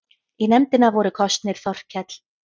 Í nefndina voru kosnir Þorkell